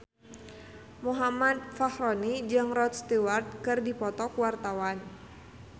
Muhammad Fachroni jeung Rod Stewart keur dipoto ku wartawan